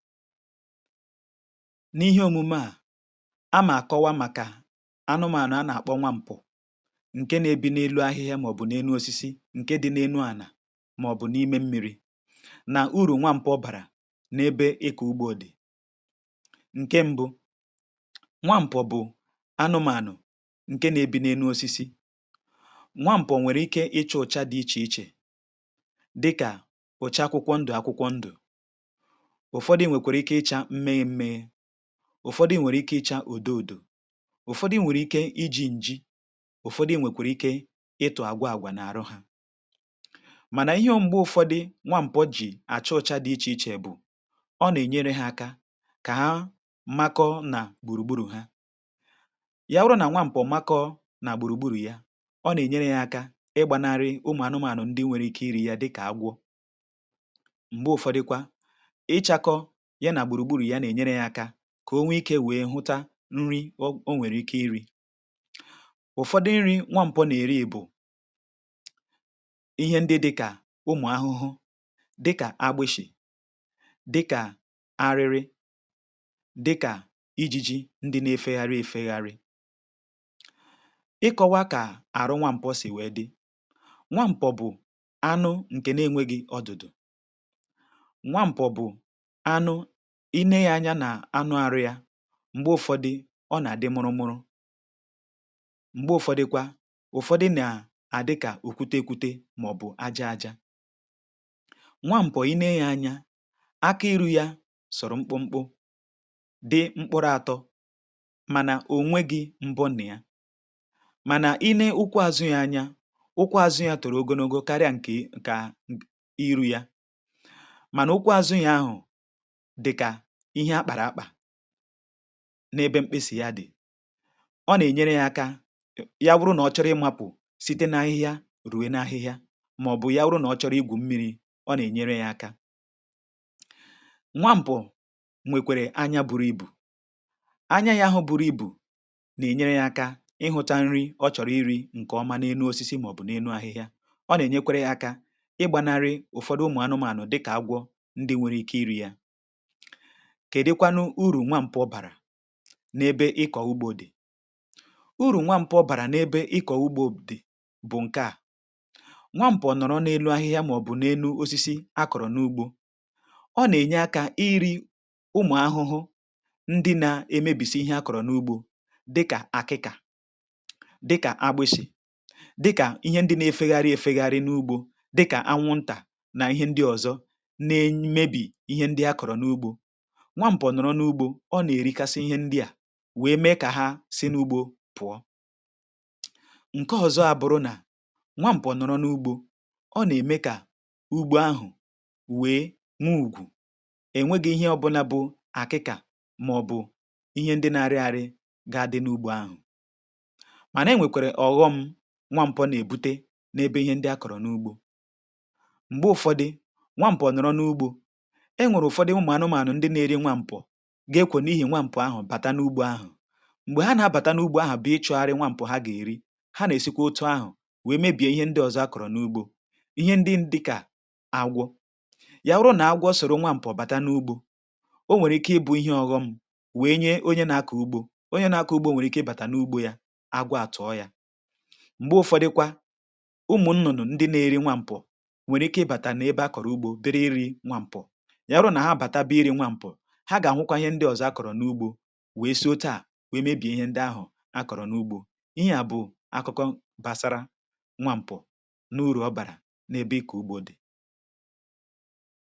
n'ihe omume a na m kọwa màkà anụmànụ̀ a nà-àkpọ nwa m̀po ǹke na-ebi n'elu ahịhịa màọ̀bụ̀ n’enu osisi ǹke dị n’enu ànà màọ̀bụ̀ n’ime mmi̇ri̇ nà urù nwa m̀po ọ bàrà n’ebe ịkọ̇ ugbȯ dị̀ ǹke mbụ nwa m̀po bụ̀ anụmànụ̀ ǹke na-ebi n’enu osisi, nwa m̀pụ̀ nwèrè ike ịcha ụ̀cha dị ichè ichè dịkà ụ̀cha akwụkwọ ndụ̀ akwụkwọ ndụ̀ ụ̀fọdụ nwèkwara ike ịchȧ nme nme ụ̀fọdụ nwèrè ike ịchȧ ùdo ùdò ụ̀fọdụ nwèrè ike iji̇ ǹji̇ ụ̀fọdụ nwèkwèrè ike ịtụ̇ àgwa àgwa n’àrụ hȧ mànà ihe ọ̀m̀gbe ụ̀fọdụ nwaǹpọ̀ jì àchụ ụ̇chȧ dị ichè ichè bụ̀ ọ nà-ènyere hȧ aka kà ha mmakọ nà gbùrùgburù ha ya ọrụ nà nwaàm̀pọ̀ mmakọ nà gbùrùgburù yȧ ọ nà-ènyere hȧ aka ịgbȧnarị ụmụ̀ anụmanụ ndị nwere ike iri̇ yȧ dịkà agwọ ngbe ufodu kwa ichako ya na gburugburu ya kà o nwee ikė wèe hụta nri ọ o nwèrè ike iri̇ ụ̀fọdụ nri̇ nwa mpọ nà-èri bụ̀ ihe ndị dịkà ụmụ̀ ahụhụ dịkà agbishì dịkà arịrị dịkà ijiji ndị na-efegharị efegharị ịkọwa kà àrụ nwa mpọ sì wee dị nwa mpọ̀ bụ̀ anụ nkè n’enwe gị̇ ọdụ̀dụ̀ ile ya anya nà anụ arụ̇ yȧ m̀gbe ụfọdị ọ nà-àdị mụrụmụrụ m̀gbe ụfọdịkwa ụfọdị nà-àdịkà òkwuta ekwuta màọ̀bụ̀ aja aja nwa m̀pọ̀ i nee ya anya aka iru̇ ya sọ̀rọ̀ mkpụmkpụ dị mkpụrụ atọ̇ mànà ò nweghi̇ mbọ na ya mànà i nee ukwu àzụ yȧ anya ukwu àzụ ya tụ̀rụ̀ ogologo karịa ǹkè ǹkà iru̇ ya mànà ukwu àzụ ya ahụ̀ dika ihe akpara akpa n’ebe mkpịsị ya dị̀ ọ nà-ènyere yȧ aka ya wụrụ nà ọ chọrọ ịmȧpụ̀ site n’ahịhịa ruo n’ahịhịa màọ̀bụ̀ ya wụrụ nà ọ chọrọ igwù mmiri̇ ọ nà-ènyere yȧ aka, nwa mpụ̀ nwèkwèrè anya buru ibù anya yȧ ahụ̇ buru ibù nà-ènyere yȧ aka ịhụ̇ta nri ọ chọ̀rọ̀ iri̇ ǹkè ọma n’enu osisi màọ̀bụ̀ n’enu ahịhịa ọ nà-ènyekwere yȧ aka ịgbȧnari ụ̀fọdụ ụmụ̀ anụmanụ̀ dịkà agwọ kèdịkwanụ uru nwa mpụ bàrà n’ebe ịkọ̀ ugbȯ dị̀ uru nwa mpụ bàrà n’ebe ịkọ̀ ugbȯ dị̀ bụ̀ ǹkè à nwámpọ̀ nọ̀rọ̀ n’elu ahịhịa màọ̀bụ̀ n’elu osisi a kọ̀rọ̀ n’ugbȯ ọ nà-ènye akȧ iri̇ ụmụ̀ ahụhụ ndị na-emebìsi ihe a kọ̀rọ̀ n’ugbȯ dịkà àkịkà dịkà agbịshị̀ dịkà ihe ndị na-efegharị efegharị n’ugbȯ dịkà anwụntà na ihe ndị ọ̀zọ na-emebì ihe ndị a kọ̀rọ̀ n’ugbȯ nwa mpọ nọrọ n’ugbȯ ọ nà-èrikasi ihe ndị à wee mee kà ha si n’ugbȯ pụọ ǹke ọzọ abụrụ nà nwa mpọ nọrọ n’ugbȯ ọ nà-ème kà ugbo ahụ̀ wee n’ugwù enwėghi ihe ọbụla bụ àkịkà màọ̀bụ̀ ihe ndị na-arị àrị gaa dị n’ugbȯ ahụ̀ màna e nwèkwèrè ọ̀ghọṁ nwa mpọ nà-èbute n’ebe ihe ndị a kọ̀rọ̀ n’ugbȯ m̀gbè ụ̀fọdị nwa mpọ nọrọ n’ugbȯ ga-ekwè n’ihì nwàmpụ̀ ahụ̀ bàta n’ugbȯ ahụ̀ m̀gbè ha nà-abàta n’ugbȯ ahụ̀ bụ̀ ị chọ̇gharị nwàmpụ̀ ha gà-èri ha nà-èsikwa otu ahụ̀ wèe mee bìe ihe ndị ọzọ akọ̀rọ̀ n’ugbȯ ihe ndị dịkà agwọ̇ yà rụụ nà agwọ̇ ọ sọ̀rọ̀ nwàmpụ̀ bàta n’ugbȯ o nwèrè ike ị bụ̇ ihe ọ̇ghọṁ wèe nye onye nȧ-akọ ugbȯ onye nȧ-akọ ugbȯ nwèrè ike ịbàtà n’ugbȯ yȧ agwọ àtụ̀ọ yȧ m̀gbè ụfọdụkwa ụmụ̀ nnụnụ̀ ndị na-eri nwàmpụ̀ nwèrè ike ịbàtà na ebe ha kọ̀rọ̀ ugbȯ biri iri̇ nwàmpụ̀ wee sòo taa wee mebie ihe ndị ahụ̀ akọ̀rọ̀ n’ugbo ihe a bụ̀ akụkọ gbàsara nwa m̀pụ̀ n’urù ọ bàrà n’ebe ịkọ̀ ugbȯ dị̀